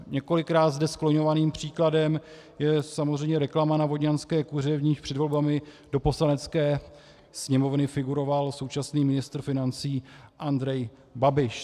Několikrát zde skloňovaným příkladem je samozřejmě reklama na vodňanské kuře, v níž před volbami do Poslanecké sněmovny figuroval současný ministr financí Andrej Babiš.